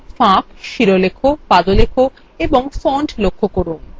এখানে ফাঁক শিরলেখ পাদলেখ fonts লক্ষ্য করুন